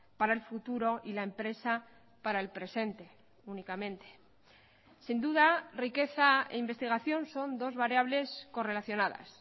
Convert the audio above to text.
para el futuro y la empresa para el presente únicamente sin duda riqueza e investigación son dos variables correlacionadas